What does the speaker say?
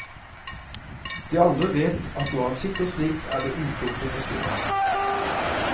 De andre vet at når han sitter slik, er det uklokt å forstyrre ham.